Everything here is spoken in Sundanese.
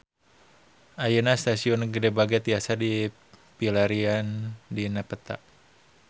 Ayeuna Stasiun Gede Bage tiasa dipilarian dina peta